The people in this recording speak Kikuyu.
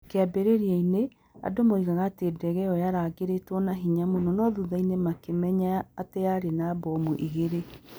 Kĩambĩrĩria-inĩ, andũ moigaga atĩ ndege ĩyo yaringĩrĩtwo na hinya mũno no thutha-inĩ makĩmenya atĩ yarĩ na mbomu igĩrĩ